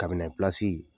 Kabinɛ pilasi